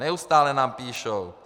Neustále nám píší.